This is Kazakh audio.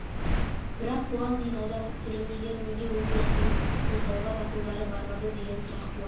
бірақ бұған дейін аудандық тергеушілер неге өздері қылмыстық іс қозғауға батылдары бармады деген сұрақ туады